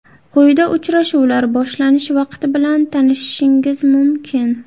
Quyida uchrashuvlar boshlanish vaqti bilan tanishishingiz mumkin.